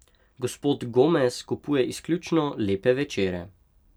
Gospod Gomez kupuje izključno Lepe večere.